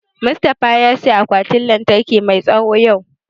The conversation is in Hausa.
Mustafa ya saya akwatin lantarki mai tsawo yau